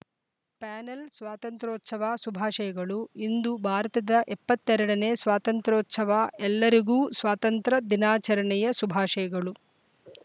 panel ಸ್ವಾತಂತ್ರೋ ರೋಚ ವ ಶುಭಾಶಯಗಳು ಇಂದು ಭಾರತದ ಎಪ್ಪತ್ತೆರಡನೇ ಸ್ವಾತಂತ್ರೋ ರೋಚ ವ ಎಲ್ಲರಿಗೂ ಸ್ವಾತಂತ್ರ ದಿನಾಚರಣೆಯ ಶುಭಾಶಯಗಳು